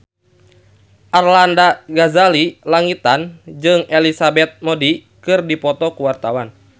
Arlanda Ghazali Langitan jeung Elizabeth Moody keur dipoto ku wartawan